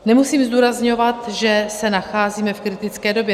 Nemusím zdůrazňovat, že se nacházíme v kritické době.